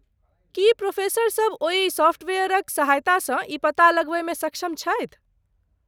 की प्रोफेसरसभ ओहि सॉफ्टवेयरक सहायतासँ ई पता लगबयमे सक्षम छथि?